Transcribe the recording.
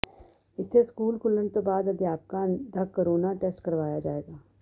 ਇੱਥੇ ਸਕੂਲ ਖੁੱਲ੍ਹਣ ਤੋਂ ਬਾਅਦ ਅਧਿਆਪਕਾਂ ਦਾ ਕੋਰੋਨਾ ਟੈਸਟ ਕਰਵਾਇਆ ਜਾਵੇਗਾ